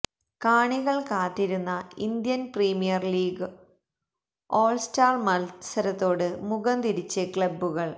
കാണികൾ കാത്തിരുന്ന Indian premier league all star മത്സരത്തോട് മുഖംതിരിച്ച് ക്ലബ്ബുകൾ